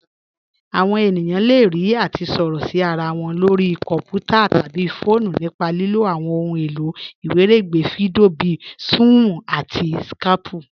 Àwọn ènìyàn le rí àti sọ̀rọ̀ sí ara wọn lórí kọ̀nputà̀ tabí fọọ̀nù nípa lílò àwọn òhun èlò iwiregbè fídíò bíì Sún-ún àti Skáypù.